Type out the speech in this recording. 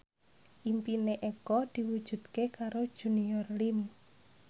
impine Eko diwujudke karo Junior Liem